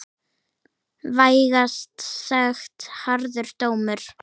Vægast sagt harður dómur.